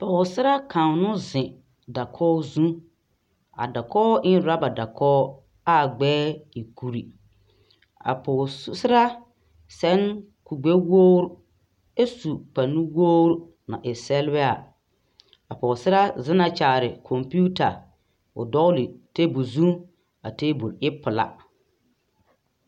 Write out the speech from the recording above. Pͻgesaraa kaŋa no zeŋe dakogi zu, a dakogi e na orͻba dakogi aa gbԑԑ e kuri. A pͻgesaraa seԑ kuri gbԑwogiri ԑ su kpare nuwpogiri a e sԑlebԑԑ. A pͻgesaraa zeŋe kyaare kͻmpiita o dͻgele teebole zu a teebole e pelaa.